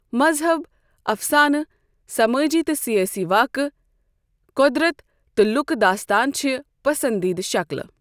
مذہب، افسانہٕ، سمٲجی تہٕ سیٲسی واقعہٕ، قۄدرت تہٕ لوٗکِہ داستان چھِ پسندیدٕ شکلہٕ۔